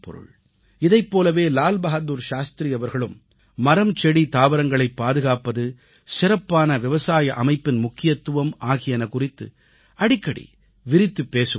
இதைப் போலவே லால் பகதூர் சாஸ்த்ரி அவர்களும் மரம் செடி தாவரங்களைப் பாதுகாப்பது சிறப்பான விவசாய அமைப்பின் முக்கியத்துவம் ஆகியன குறித்து அடிக்கடி விரித்துப் பேசுவதுண்டு